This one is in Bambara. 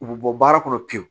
U bɛ bɔ baara kɔnɔ pewu